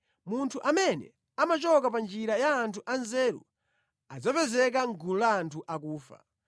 Munthu amene amachoka pa njira ya anthu anzeru adzapezeka mʼgulu la anthu akufa.